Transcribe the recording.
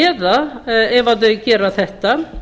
eða ef þau gera þetta